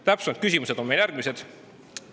Täpsemad küsimused on meil järgmised.